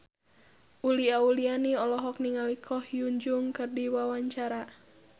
Uli Auliani olohok ningali Ko Hyun Jung keur diwawancara